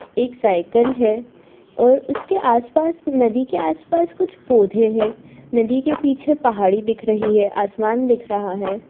एक साइकल है और उसके आस-पास और नदी के आस-पास कुछ पौधे हैं नदी के पीछे पहाड़ी दिख रही है आसमान दिख रहा हैं।